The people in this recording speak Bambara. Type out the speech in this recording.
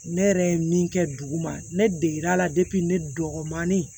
Ne yɛrɛ ye min kɛ dugu ma ne degera ne dɔgɔnin